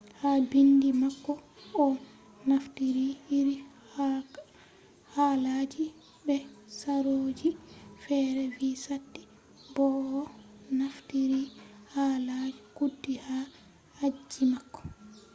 ha bindi mako o naftiri iri halaji be sarooji fere vi sati bo o naftiri halaji kudi ha aji mako